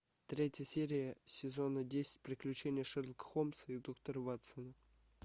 третья серия сезона десять приключения шерлока холмса и доктора ватсона